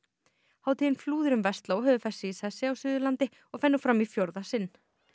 hátíðin Flúðir um Versló hefur fest sig í sessi á Suðurlandi og fer nú fram í fjórða sinn